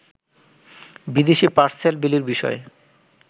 বিদেশী পার্সেল বিলির বিষয়ে